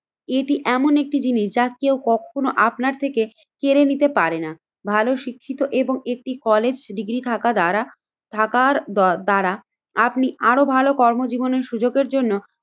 এটি এমন একটি জিনিস যা কেউ কখনো আপনার থেকে কেড়ে নিতে পারে না। ভালো শিক্ষিত এবং একটি কলেজ ডিগ্রী থাকা দ্বারা থাকার দদ্বারা আপনি আরো ভালো কর্মজীবনের সুযোগের জন্য